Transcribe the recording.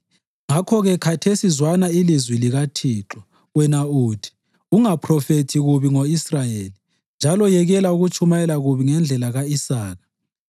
Ngakho-ke khathesi zwana ilizwi likaThixo. Wena uthi: ‘Ungaphrofethi kubi ngo-Israyeli, njalo yekela ukutshumayela kubi ngendlela ka-Isaka.’